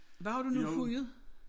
Hvad har du nu hujet?